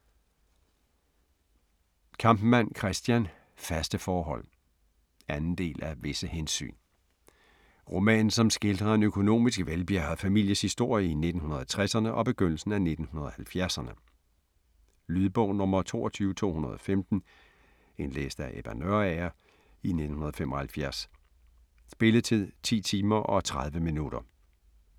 Kampmann, Christian: Faste forhold 2. del af Visse hensyn. Roman som skildrer en økonomisk velbjærget families historie i 1960'erne og begyndelsen af 70'erne. Lydbog 22215 Indlæst af Ebba Nørager, 1975. Spilletid: 10 timer, 30 minutter.